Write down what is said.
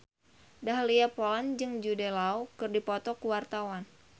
Dahlia Poland jeung Jude Law keur dipoto ku wartawan